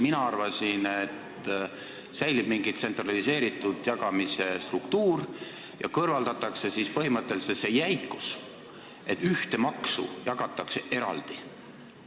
Mina arvasin, et säilib mingi tsentraliseeritud jagamise struktuur ja kõrvaldatakse põhimõtteliselt see jäikus, et ühte maksu jagatakse eraldi.